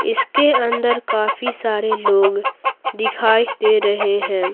इसके अंदर काफी सारे लोग दिखाई दे रहे हैं।